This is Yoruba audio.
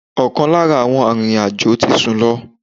Ọkan lára àwọn arìnrìn-àjò tí sun lọ.